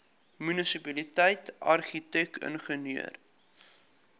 munisipaliteit argitek ingenieur